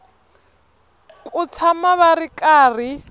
ku tshama va ri karhi